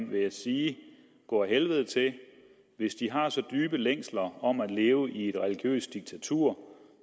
vil jeg sige gå ad helvede til hvis de har så dybe længsler om at leve i et religiøst diktatur